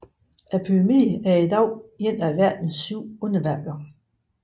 Pyramiden er i dag et af verdens syv underværker